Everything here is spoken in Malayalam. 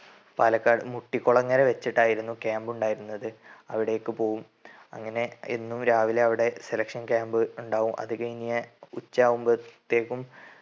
പാലക്കാട് മുട്ടികുളങ്ങര വെച്ചിട്ടായിരുന്നു camp ഉണ്ടായിരുന്നത്. അവിടേക്ക് പോകും അങ്ങനെ എന്നും രാവിലെ അവിടെ selection camp ഉണ്ടാവും. അത് കയിഞ്ഞു ഉച്ചയാകുമ്പത്തേക്കും